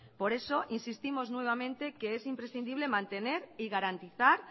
por eso insistimos nuevamente que es imprescindible mantener y garantizar